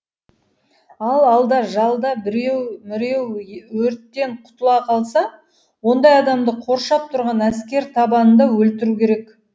ал алда жалда біреу міреу өрттен құтыла қалса ондай адамды қоршап тұрған әскер табанында өлтіру керек